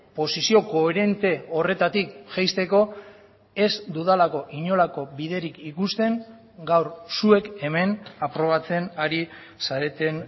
posizio koherente horretatik jaisteko ez dudalako inolako biderik ikusten gaur zuek hemen aprobatzen ari zareten